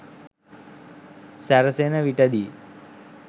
සැරසෙන විටදී